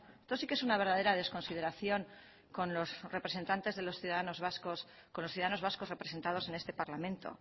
esto sí que es una verdadera desconsideración con los representantes de los ciudadanos vascos con los ciudadanos vascos representados en este parlamento